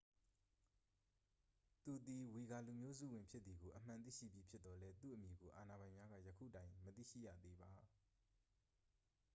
သူသည် ဝီဂါလူမျိုးစုဝင်ဖြစ်သည်ကို အမှန်သိရှိပြီးဖြစ်သော်လည်း သူ့အမည်ကို အာဏာပိုင်များက ယခုတိုင် မသိရှိရသေးပါ